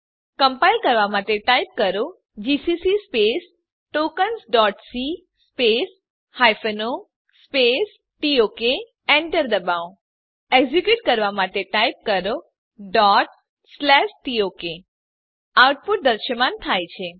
compile કરવાં માટે type કરો જીસીસી tokensસી o ટોક Enter દબાવો એક્ઝેક્યુટ કરવાં માટે ટાઈપ કરો tok આઉટપુટ દ્રશ્યમાન થાય છે